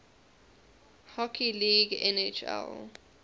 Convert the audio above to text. hockey league nhl